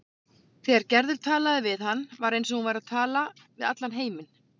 Þegar Gerður talaði við hann var eins og hún væri að tala við allan heiminn.